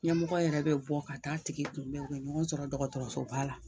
Ɲɛmɔgɔ yɛrɛ be bɔ ka taa tigi kun bɛn o be ɲɔgɔn sɔrɔ dɔgɔtɔrɔsoba la